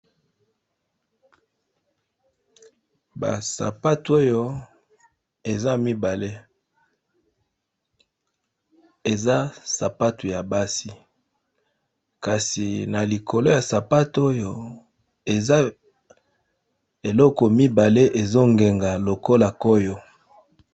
Ba sapatu oyo eza mibale, eza sapatu ya basi kasi na likolo ya sapatu oyo eza eloko mibale ezo ngenga lokola koyo.